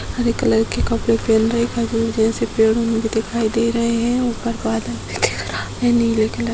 हरे colour के कपड़े पेहेन रखे है | पेड़ो में भी दिखाई दे रहे हैं | ऊपर बदल भी दिख रहा है नीले कलर --